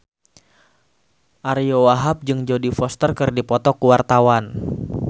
Ariyo Wahab jeung Jodie Foster keur dipoto ku wartawan